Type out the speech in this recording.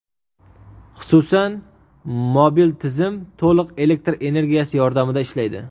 Xususan, mobil tizim to‘liq elektr energiyasi yordamida ishlaydi.